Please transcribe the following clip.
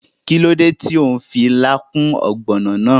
Kíló dé tó n fi ilá kún ògbònò náà?